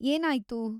ಏನಾಯ್ತು?